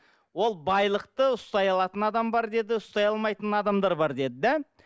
ол байлықты ұстай алатын адам бар деді ұстай алмайтын адамдар бар деді да